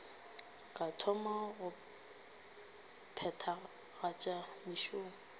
ka thoma go phethagatša mešomo